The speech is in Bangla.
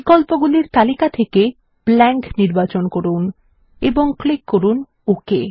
বিকল্পগুলির তালিকা থেকে ব্ল্যাংক নির্বাচন করুন এবং ক্লিক করুন ওক